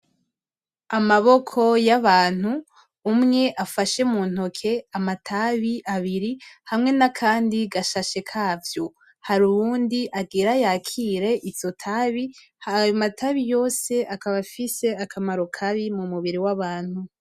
Amaboko y'abantu umwe afashe mu ntoke amatabi abiri hamwe nakandi gashashe kavyo hari uyundi agire yakire iryo tabi rikaba rifise akamaro kabi mu mubiri w'abantu.